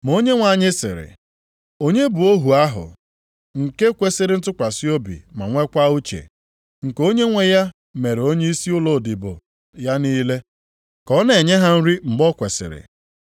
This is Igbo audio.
Ma Onyenwe anyị sịrị, “Onye bụ ohu ahụ nke kwesiri ntụkwasị obi ma nwekwa uche, nke onyenwe ya mere onyeisi ụmụodibo ya niile, ka ọ na-enye ha nri mgbe o kwesiri?